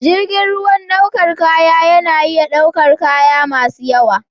Jirgin ruwan ɗaukar kaya yana iya ɗaukar kaya masu yawa.